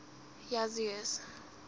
jasues